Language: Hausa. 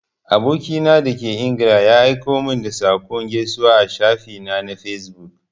Aboki na da ke ingila ya aiko min da saƙon gaisuwa a shafi na na fesbuk.